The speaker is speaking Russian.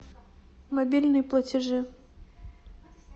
мобильные платежи